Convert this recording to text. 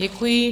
Děkuji.